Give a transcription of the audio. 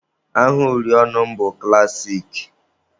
Aha uri ọnụ m bụ klassik.